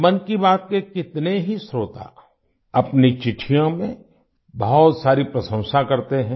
मन की बात के कितने ही श्रोता अपनी चिट्ठियों में बहुत सारी प्रशंसा करते हैं